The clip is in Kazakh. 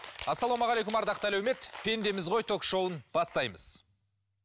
ассалаумағалейкум ардақты әлеумет пендеміз ғой ток шоуын бастаймыз